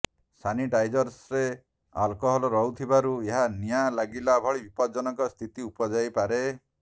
ସାନିଟାଇଜର୍ରେ alcohol ରହୁଥିବାରୁ ଏହା ନିଆଁ ଲାଗିବା ଭଳି ବିପଜ୍ଜନକ ସ୍ଥିତି ଉପୁଜାଇପାରେ